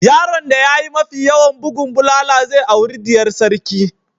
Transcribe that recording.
Yaron da ya yi mafi yawan bugun bulala zai auri diyar sarki.